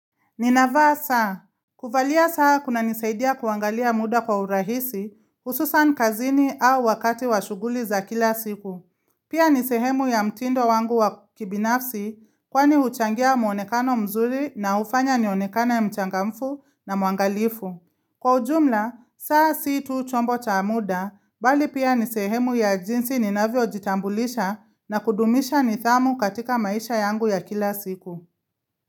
Ninavaa saa. Kuvalia saa kunanisaidia kuangalia muda kwa urahisi, hususan kazini au wakati wa shughuli za kila siku. Pia ni sehemu ya mtindo wangu wa kibinafsi, kwani huchangia muonekano mzuri na hufanya nionekane mchangamfu na muangalifu. Kwa ujumla, saa si tu chombo cha muda, mbali pia ni sehemu ya jinsi ninavyo jitambulisha na kudumisha nidhamu katika maisha yangu ya kila siku.